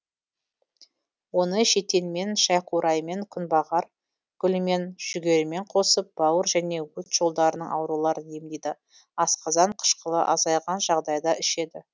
оны шетенмен шайқураймен күнбағар гүлімен жүгерімен қосып бауыр және өт жолдарының ауруларын емдейді асқазан қышқылы азайған жағдайда ішеді